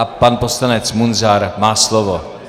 A pan poslanec Munzar má slovo.